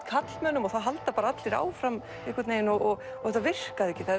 karlmönnum og það halda allir áfram einhvern veginn og það virkaði ekki það